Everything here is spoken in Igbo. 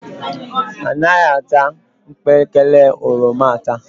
Anaghị ata mkpekele oroma ata